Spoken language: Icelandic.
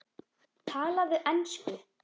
Talaðu ensku!